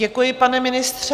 Děkuji, pane ministře.